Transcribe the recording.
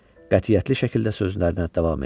Qətiyyətli şəkildə sözlərinə davam etdi.